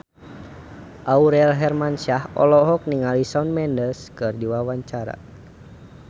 Aurel Hermansyah olohok ningali Shawn Mendes keur diwawancara